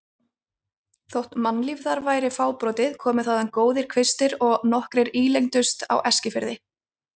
Þótt mannlíf þar væri fábrotið komu þaðan góðir kvistir og nokkrir ílengdust á Eskifirði.